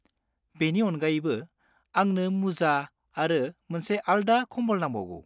बेनि अनगायैबो, आंनो मुजा आरो मोनसे आल्दा कम्बल नांबावगौ।